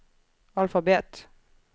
alfabet